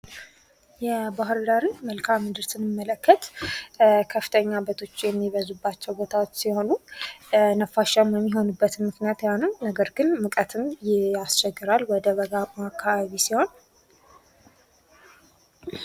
የባህርዳርን መልካም ምድር ስንመለከት ከፍተኛ ቦታዎች የሚበዙባቸው ቦታዎች ሲሆኑ ንፋሻማ የሚሆኑበት ምክንያት ያ ነው። ነገር ግን ሙቀትም ያስቸግራል ወደ በጋው አካባቢ ሲሆን